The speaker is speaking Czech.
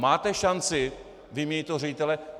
Máte šanci vyměnit toho ředitele?